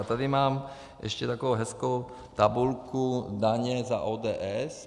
A tady mám ještě takovou hezkou tabulku: Daně za ODS.